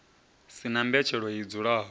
si na mbetshelo i dzulaho